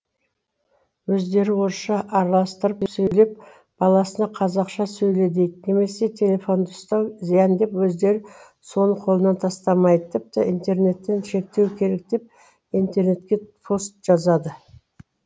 өздері орысша араластырып сөйлеп баласына қазақша сөйле дейді немесе телефонды ұстау зиян деп өздері соны қолынан тастамайды тіпті интернеттеі шектеу керек деп интернетке пост жазады